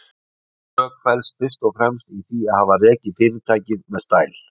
Mín sök felst fyrst og fremst í því að hafa rekið fyrirtækið með stæl.